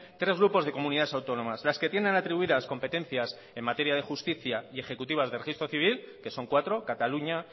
tres grupos de comunidades autónomas las que tienen atribuidas competencias en materia de justicia y ejecutivas de registro civil que son cuatro cataluña